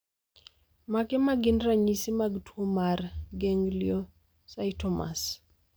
Mage magin ranyisi mag tuo mar gangliocytomas?